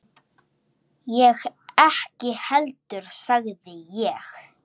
Ég ekki heldur sagði ég.